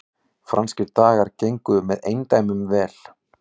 Franskir dagar gengu með eindæmum vel